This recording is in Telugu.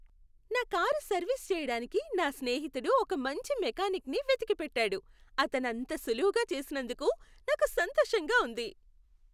నా కారు సర్వీస్ చేయడానికి నా స్నేహితుడు ఒక మంచి మెకానిక్ ని వెతికి పెట్టాడు, అతను అంత సులువుగా చేసినందుకు నాకు సంతోషంగా ఉంది.